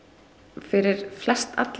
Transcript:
fyrir flestalla